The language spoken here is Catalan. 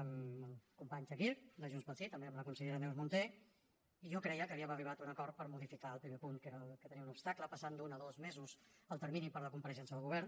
amb el company chakir de junts pel sí també amb la consellera neus munté i jo creia que havíem arribat a un acord per modificar el primer punt que era el que tenia un obstacle passant d’un a dos mesos el termini per la compareixença del govern